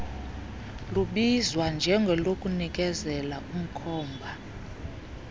lubizwa njengolokunikezela umkhomba